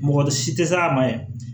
Mɔgɔ si tɛ se a ma yɛrɛ